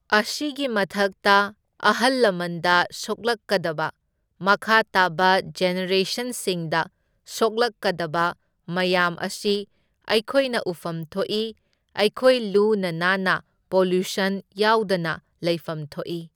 ꯑꯁꯤꯒꯤ ꯃꯊꯛꯇ ꯑꯍꯜ ꯂꯃꯟꯗ ꯁꯣꯛꯂꯛꯀꯗꯕ, ꯃꯈꯥ ꯇꯥꯕ ꯖꯦꯅꯦꯔꯦꯁꯟꯁꯤꯡꯗ ꯁꯣꯛꯂꯛꯀꯗꯕ ꯃꯌꯥꯝ ꯑꯁꯤ ꯑꯩꯈꯣꯏꯅ ꯎꯐꯝ ꯊꯣꯛꯏ, ꯑꯩꯈꯣꯏ ꯂꯨꯅ ꯅꯥꯟꯅ ꯄꯣꯂ꯭ꯌꯨꯁꯟ ꯌꯥꯎꯗꯅ ꯂꯩꯐꯝ ꯊꯣꯛꯢ꯫